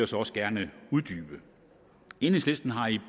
så også gerne uddybe enhedslisten har i